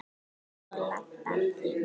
Eins og Ladan þín.